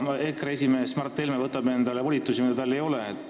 EKRE esimees Mart Helme võtab endale volitusi, mida tal ei ole.